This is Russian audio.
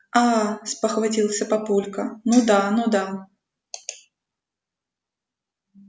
а-а-а спохватился папулька ну да ну да